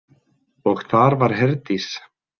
Og þar var Herdís.